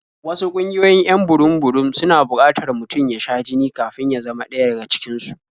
Wasu ƙungiyoyin 'yan burum-burum suna buƙatar mutum ya sha jini kafin ya zama ɗaya daga cikin su.